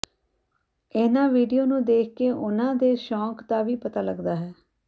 ਇਹਨਾਂ ਵਿਡਓ ਨੂੰ ਦੇਖਕੇ ਉਹਨਾਂ ਦੇ ਸ਼ੌਂਕ ਦਾ ਵੀ ਪਤਾ ਲੱਗਦਾ ਹੈ